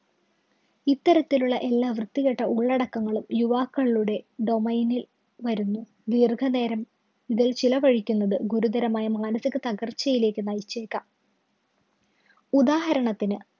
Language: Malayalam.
ഇത്തരത്തിലുള്ള എല്ലാ വൃത്തികെട്ട ഉള്ളടക്കങ്ങളും യുവാക്കളിലൂടെ domain ല്‍ വരുന്നു. ദീര്‍ഘനേരം ഇതില്‍ ചിലവഴിക്കുന്നത് ഗുരുതരമായ മാനസിക തകര്‍ച്ചയിലേക്ക് നയിച്ചേക്കാം. ഉദാഹരണത്തിന്